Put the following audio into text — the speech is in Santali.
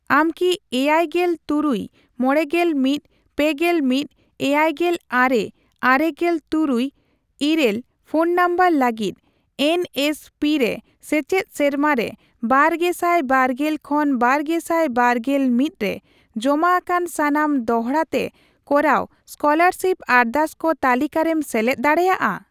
ᱟᱢ ᱠᱤ ᱮᱭᱟᱭᱜᱮᱞ ᱛᱩᱨᱩᱭ ᱢᱚᱲᱮᱜᱮᱞ ᱢᱤᱛ ,ᱯᱮᱜᱮᱞ ᱢᱤᱛ ,ᱮᱭᱟᱭᱜᱮᱞ ᱟᱨᱮ ,ᱟᱨᱮᱜᱮᱞ ᱛᱩᱨᱩᱭ ,ᱤᱨᱟᱹᱞ ᱯᱷᱳᱱ ᱱᱟᱢᱵᱟᱨ ᱞᱟᱹᱜᱤᱫ ᱮᱱ ᱮᱥ ᱯᱤ ᱨᱮ ᱥᱮᱪᱮᱫ ᱥᱮᱨᱢᱟ ᱨᱮ ᱵᱟᱨᱜᱮᱥᱟᱭ ᱵᱟᱨᱜᱮᱞ ᱠᱷᱚᱱ ᱵᱟᱨᱜᱮᱥᱟᱭ ᱵᱟᱨᱜᱮᱞ ᱢᱤᱛ ᱨᱮ ᱡᱚᱢᱟ ᱟᱠᱟᱱ ᱥᱟᱱᱟᱢ ᱫᱚᱲᱦᱟ ᱛᱮ ᱠᱚᱨᱟᱣ ᱮᱥᱠᱚᱞᱟᱨᱥᱤᱯ ᱟᱨᱫᱟᱥ ᱠᱚ ᱛᱟᱞᱤᱠᱟᱨᱮᱢ ᱥᱮᱞᱮᱫ ᱫᱟᱲᱮᱭᱟᱜᱼᱟ ᱾?